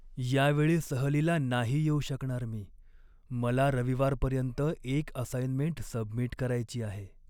यावेळी सहलीला नाही येऊ शकणार मी. मला रविवारपर्यंत एक असाईनमेंट सबमिट करायची आहे.